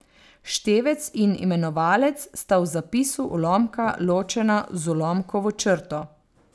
Števec in imenovalec sta v zapisu ulomka ločena z ulomkovo črto.